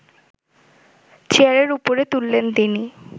চেয়ারের ওপরে তুললেন তিনি